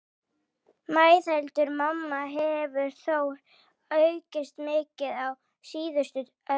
Meðalaldur manna hefur þó aukist mikið á síðustu öld.